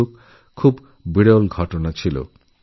যুবাবস্থায় এই রোগ প্রায় হতই না